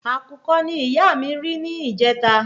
Àkùkọ ni iya mi ri ni ìjẹta